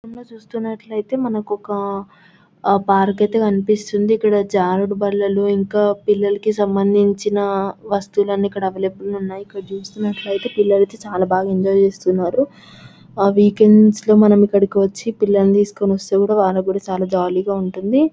చిత్రమ్ లో చూస్తున్నట్టు అయితే మనకి ఒక పార్క్ అయితే కనిపిస్తుంది. ఇక్కడ జారుడు బల్లలు ఇంకా పిల్లలకి సంబందించిన వస్తువులు అన్ని ఇక్కడ వైలబులే గ ఉన్నాయి. ఇక్కడ చూస్తున్నట్టు అయితే పిల్లలు చాలా బాగా ఎంజాయ్ చేస్తున్నారు వీకెండ్స్ లో మనం అయితే ఇక్కడకి వచ్చి మనం పిల్లలని తీసుకోని వస్తే వాళ్ళు కూడా చాలా జాలిగా ఉంటుంది.